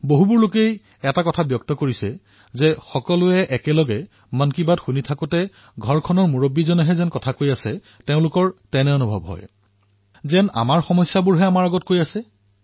বহুতে কয় যে যেতিয়া আমি পৰিয়ালৰ সৈতে লগ হৈ মন কী বাত শুনো তেতিয়া এনে লাগে যেন আমাৰ পৰিয়ালৰ মুখ্য ব্যক্তিজনে আমাৰ মাজত বহি আমাৰ নিজৰেই কথা আমাৰ আগত কৈ আছে